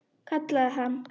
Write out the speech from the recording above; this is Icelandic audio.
Kallaði hann.